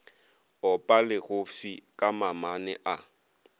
opa legofsi ka mamane a